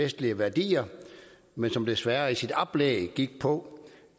vestlige værdier men som desværre i sit oplæg gik på